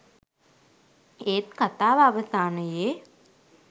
ඒත් කථාව අවසානයේ